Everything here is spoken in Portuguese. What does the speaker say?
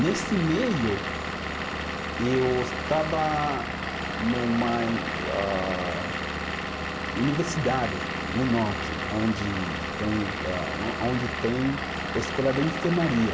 Nesse meio, eu estava numa e ah, universidade no norte, aonde eh aonde tem escola de enfermaria.